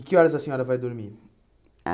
E que horas a senhora vai dormir? Ah